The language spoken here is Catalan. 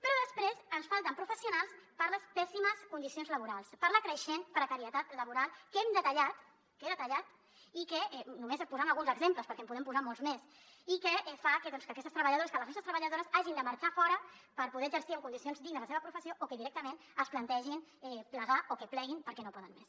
però després ens falten professionals per les pèssimes condicions laborals per la creixent precarietat laboral que hem detallat que he detallat només posant ne alguns exemples perquè en podem posar molts més i que fa que aquestes treballadores que les nostres treballadores hagin de marxar fora per poder exercir en condicions dignes la seva professió o que directament es plantegin plegar o que pleguin perquè no poden més